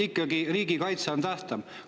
Ikkagi riigikaitse on tähtsam.